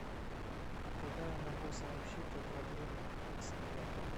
куда я могу сообщить о проблеме с оплатой